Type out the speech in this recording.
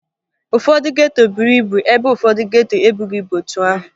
Ụfọdụ geto buru ibu ebe ụfọdọ geto ebughi ebu otu ahụ